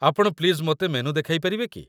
ଆପଣ ପ୍ଲିଜ୍ ମୋତେ ମେନୁ ଦେଖାଇ ପାରିବେ କି ?